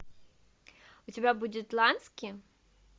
у тебя будет лански